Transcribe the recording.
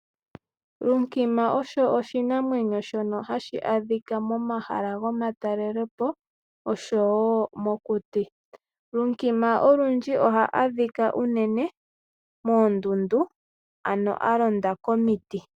Lunkima osho oshinamwenyo shono hashi adhika momahala gomatalelepo nosho woo mokuti. Lunkima olundji ohaadhika unene moondundu alonda komiti.